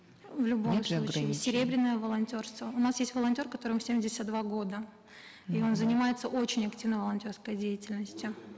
в любом случае серебряное волонтерство у нас есть волонтер которому семьдесят два года и он занимается очень активно волонтерской деятельностью